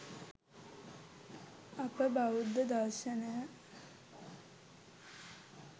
අප බෞද්ධ දර්ශනය